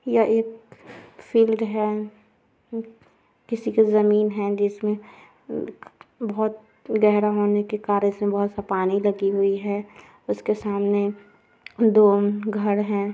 ये एक फिल्ड है। हम्म किसी की जमीन है। जिसमें हम्म बोहोत गहरा होने के कारण इसमे बोहोत सा पानी लगी हुई है। उसके सामने दो घर हैं।